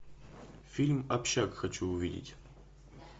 фильм общак хочу увидеть